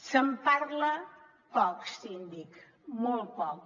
se’n parla poc síndic molt poc